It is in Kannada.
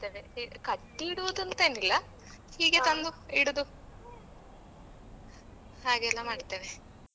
ಕಟ್ಟಿ ಇಡುದುಅಂತೇನಿಲ್ಲ ಹೀಗೆ ತಂದು ಇಡುದು ಹಾಗೆಲ್ಲ ಮಾಡ್ತೇವೆ.